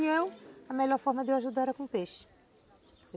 E eu, a melhor forma de eu ajudar era com peixe.